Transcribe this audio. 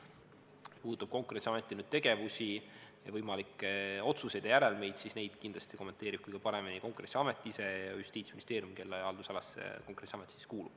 Mis puudutab Konkurentsiameti tegevusi, võimalikke otsuseid ja järelmeid, siis neid kindlasti kommenteerivad kõige paremini Konkurentsiamet ise ja Justiitsministeerium, kelle haldusalasse Konkurentsiamet kuulub.